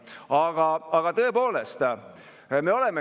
See on üks osa meie julgeolekust ja seda ei tee keegi meie eest.